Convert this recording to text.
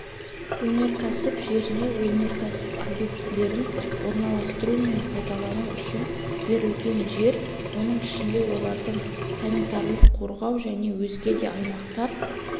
өнеркәсіп жеріне өнеркәсіп объектілерін орналастыру мен пайдалану үшін берілген жер оның ішінде олардың санитарлық-қорғау және өзге де аймақтар